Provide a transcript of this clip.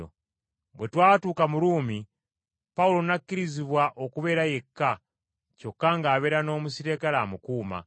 Bwe twatuuka mu Ruumi Pawulo n’akkirizibwa okubeera yekka, kyokka ng’abeera n’omuserikale amukuuma.